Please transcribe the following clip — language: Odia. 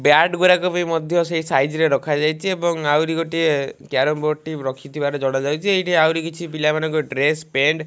ବ୍ୟାଟ ଗୁରାକ ବି ମଧ୍ୟ ସେ ସାଇଜରେ ରେ ରଖାଯାଇଚି ଏବଂ ଆହୁରି ଗୋଟିଏ କ୍ୟାରମ ବୋର୍ଡ଼ ଟି ରଖିଥିବାର ଜଣାଯାଇଚି ଏଇଠି ଆହୁରି କିଛି ପିଲାମାନଙ୍କର ଡ୍ରେସ ପେଣ୍ଟ --